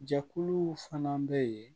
Jɛkuluw fana bɛ yen